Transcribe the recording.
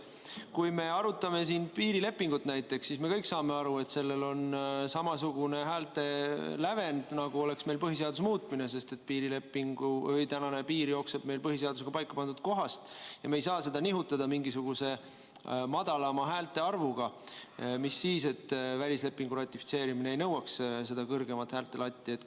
Kui me arutaksime siin näiteks piirilepingut, siis me kõik saaksime aru, et sellel on samasugune häälte lävend, nagu oleks meil tegemist põhiseaduse muutmisega, sest praegune piir jookseb meil põhiseadusega paika pandud kohas ja me ei saa seda nihutada mingisuguse madalama häälte arvuga, mis sellest, et välislepingu ratifitseerimine ei nõua häälte lati kõrgemale tõstmist.